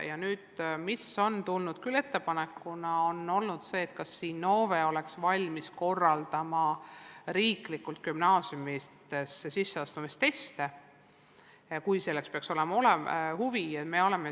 Ja nüüd on tehtud ettepanek, et kas Innove oleks valmis korraldama riiklikke gümnaasiumidesse sisseastumise teste, kui selle vastu peaks olema huvi.